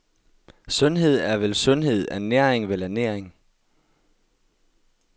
Sundhed er vel sundhed, ernæring vel ernæring.